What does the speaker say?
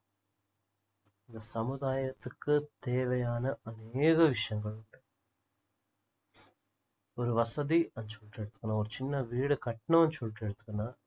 இந்த சமுதாயத்துக்கு தேவையான அனேக விஷயங்கள் இருக்கு ஒரு வசதி ஒரு சின்ன வீடு கட்டணும்னு சொல்லிட்டு எடுத்தோம்னா